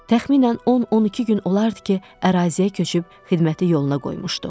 Təxminən 10-12 gün olardı ki, əraziyə köçüb xidməti yoluna qoymuşduq.